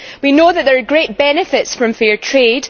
We know that there are great benefits from fair trade.